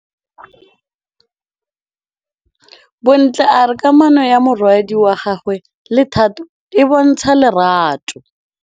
Bontle a re kamanô ya morwadi wa gagwe le Thato e bontsha lerato.